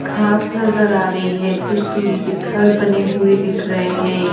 खास नजर आ रही है कुछ दूरी पर घर बने हुए दिख रहे हैं।